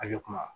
Ale kuma